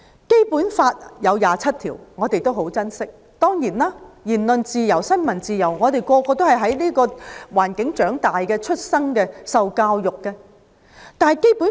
《基本法》第二十七條，我們都很珍惜，我們每個人都是在言論自由和新聞自由的環境下出生、長大和受教育的。